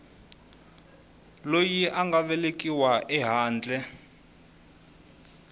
loyi a nga velekiwa ehandle